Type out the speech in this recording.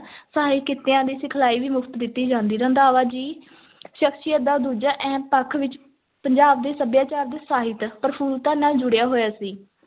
ਸਹਾਇਕ ਕਿੱਤਿਆਂ ਦੀ ਸਿਖਲਾਈ ਵੀ ਮੁਫ਼ਤ ਦਿੱਤੀ ਜਾਂਦੀ, ਰੰਧਾਵਾ ਜੀ ਸ਼ਖ਼ਸੀਅਤ ਦਾ ਦੂਜਾ ਅਹਿਮ ਪੱਖ ਵਿੱਚ ਪੰਜਾਬ ਦੇ ਸੱਭਿਆਚਾਰ ਤੇ ਸਾਹਿਤ ਪ੍ਰਫੁਲਤਾ ਨਾਲ ਜੁੜਿਆ ਹੋਇਆ ਸੀ,